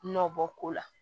Nɔ bɔ ko la